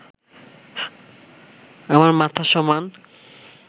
আমার মাথা সমান